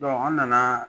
an nana